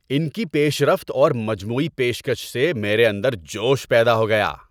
ان کی پیش رفت اور مجموعی پیشکش سے میرے اندر جوش پیدا ہو گیا۔